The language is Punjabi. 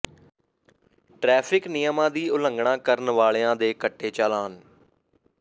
ਟਰੈਫਿਕ ਨਿਯਮਾਂ ਦੀ ਉਲੰਘਣਾ ਕਰਨ ਵਾਲਿਆ ਦੇ ਕੱਟੇ ਚਾਲਾਨ